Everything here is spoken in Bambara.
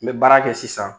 N bɛ baara kɛ sisan